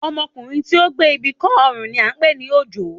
Ọmọkùnrin tí ó gbé ibi kọ́ ọrùn ni à ń pè ní òjó